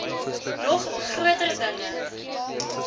nog groter dinge